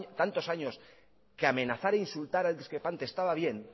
tantos años que amenazar e insultar al discrepante estaba bien